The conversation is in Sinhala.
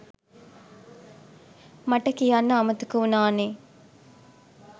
මට කියන්න අමතක උනා නෙ